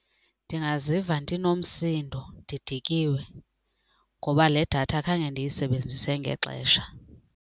Ndingaziva ndinomsindo ndidikiwe ngoba le datha khange ndiyisebenzise ngexesha.